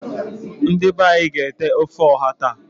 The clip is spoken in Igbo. Ndi be anyi ga ete ofe oha taa.